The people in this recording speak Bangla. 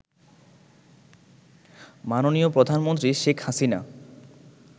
মাননীয় প্রধানমন্ত্রী শেখ হাসিনা